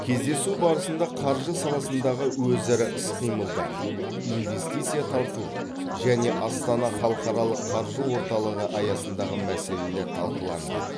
кездесу барысында қаржы саласындағы өзара іс қимылдар инвестиция тарту және астана халықаралық қаржы орталығы аясындағы мәселелер талқыланды